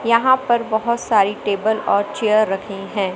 यहां पर बहुत सारी टेबल और चेयर रखी हैं।